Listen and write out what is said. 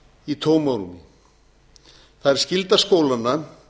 í tómarúmi það er skylda skólanna að